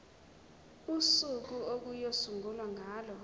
usuku okuyosungulwa ngalo